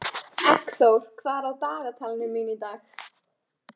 Eggþór, hvað er á dagatalinu mínu í dag?